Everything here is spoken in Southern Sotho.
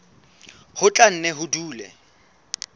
ho tla nne ho dule